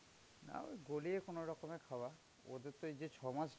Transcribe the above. না ওই গলিয়ে কোনরকমে খাওয়া. তো এই যে ছ'মাস.